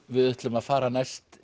við ætlum að fara næst